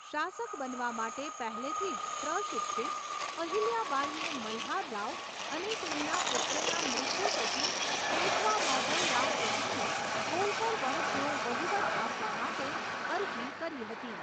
શાસક બનવા માટે પહેલેથી જ પ્રશિક્ષિત, અહિલ્યા બાઈએ મલ્હાર રાવ અને તેમના પુત્રના મૃત્યુ પછી પેશવા માધવ રાવ પ્રથમને હોલકર વંશનો વહીવટ આપવા માટે અરજી કરી હતી.